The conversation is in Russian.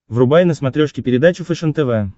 врубай на смотрешке передачу фэшен тв